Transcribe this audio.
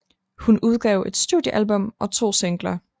Hun udgav et studiealbum og to singler